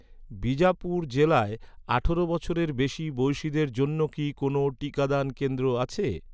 বিজাপুর জেলায় আঠারো বছরের বেশি বয়সিদের জন্য কি কোনও টিকাদান কেন্দ্র আছে?